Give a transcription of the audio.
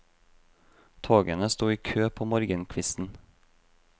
Togene sto i kø på morgenkvisten.